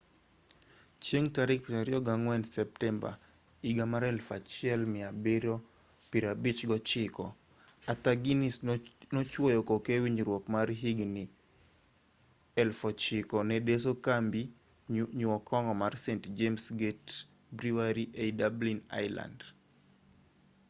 chieng' tarik 24 septemba 1759 arthur guiness nochuoyo koke e winjruok mar higni 9,000 ne deso kambi nyuo kong'o mar st james' gate brewery ei dublin ireland